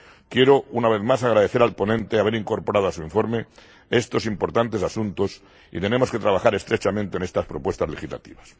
Quiero, una vez más, agradecer al ponente haber incorporado a su informe estos importantes asuntos, y tenemos que trabajar estrechamente en estas propuestas legislativas.